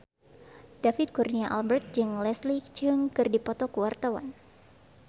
David Kurnia Albert jeung Leslie Cheung keur dipoto ku wartawan